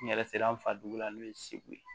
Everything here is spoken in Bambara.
N yɛrɛ sera an fa dugu la n'o ye segu ye